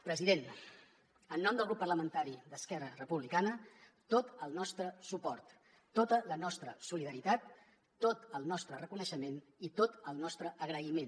president en nom del grup parlamentari d’esquerra republicana tot el nostre suport tota la nostra solidaritat tot el nostre reconeixement i tot el nostre agraïment